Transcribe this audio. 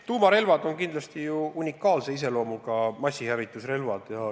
Tuumarelvad on kindlasti unikaalse iseloomuga massihävitusrelvad.